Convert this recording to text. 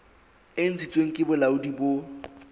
e ntshitsweng ke bolaodi bo